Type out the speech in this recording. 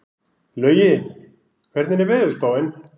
Laugi, hvernig er veðurspáin?